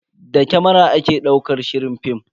Da kamara ake daukar shirin film.